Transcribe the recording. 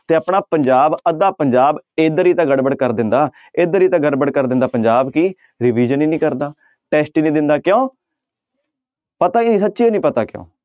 ਤੇ ਆਪਣਾ ਪੰਜਾਬ ਅੱਧਾ ਪੰਜਾਬ ਇੱਧਰ ਹੀ ਤਾਂ ਗੜਬੜ ਕਰ ਦਿੰਦਾ ਇੱਧਰ ਹੀ ਤਾਂ ਗੜਬੜ ਕਰ ਦਿੰਦਾ ਪੰਜਾਬ ਕਿ revision ਹੀ ਨੀ ਕਰਦਾ test ਹੀ ਨੀ ਦਿੰਦਾ ਕਿਉਂ ਪਤਾ ਹੀ ਨੀ ਸੱਚੀ ਹੀ ਨੀ ਪਤਾ ਕਿਉਂ।